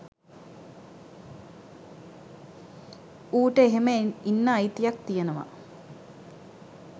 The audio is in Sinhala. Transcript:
ඌට එහෙම ඉන්න අයිතියක් තියෙනවා